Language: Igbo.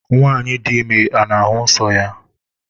nwanyi di ime ọ n'ahụ nsọ ya?